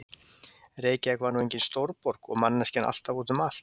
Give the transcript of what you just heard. Reykjavík var nú engin stórborg og manneskjan alltaf úti um allt.